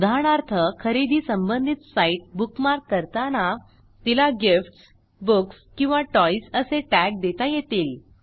उदाहरणार्थ खरेदी संबंधित साईट बुकमार्क करताना तिला गिफ्ट्स बुक्स किंवा टॉयज असे टॅग देता येतील